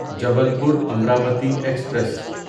Jabalpur Amravati express